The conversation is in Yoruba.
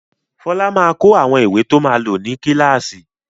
Fọlá máa kó àwọn ìwé to máa lò ní kíláàsì.